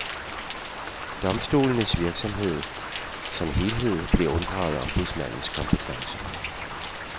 Domstolenes virksomhed som helhed blev unddraget ombudsmandens kompetence.